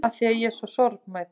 Afþvíað ég er svo sorgmædd.